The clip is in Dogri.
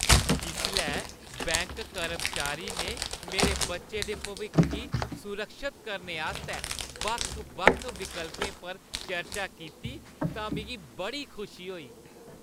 जिसलै बैंक कर्मचारी ने मेरे बच्चे दे भविक्ख गी सुरक्षत करने आस्तै बक्ख-बक्ख विकल्पें पर चर्चा कीती तां मिगी बड़ी खुशी होई।